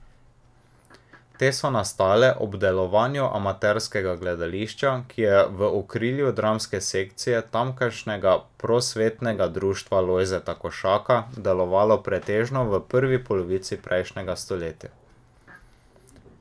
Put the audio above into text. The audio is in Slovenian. Te so nastale ob delovanju amaterskega gledališča, ki je v okrilju dramske sekcije tamkajšnjega Prosvetnega društva Lojzeta Košaka delovalo pretežno v prvi polovici prejšnjega stoletja.